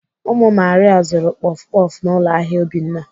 Ụmụ Maria zuru kpọf kpọf n'ụlọ ahịa Obinna.